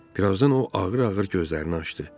Birazdan o ağır-ağır gözlərini açdı.